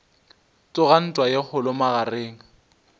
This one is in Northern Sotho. tsoga ntwa ye kgolo magareng